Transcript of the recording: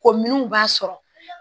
Ko minnu b'a sɔrɔ